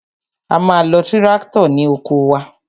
A ma lo tíráktọ̀ ní oko wa.